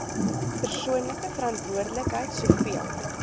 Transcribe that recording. persoonlike verantwoordelikheid soveel